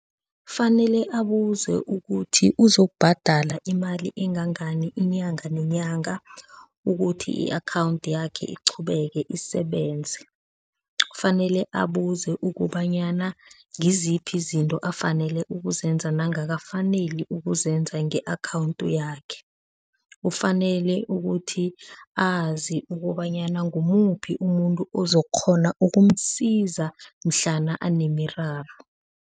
Kufanele abuze ukuthi uzokubhadala imali engangani inyanga nenyanga ukuthi i-akhawundi yakhe iqhubeke isebenze. Kufanele abuze ukobanyana ngiziphi Izinto afanele ukuzenza nengakafaneli ukuzenza nge-akhawundi yakhe. Kufanele ukuthi azi ukobanyana ngumuphi umuntu ozokukghona ukumsiza mhlana anemiraro.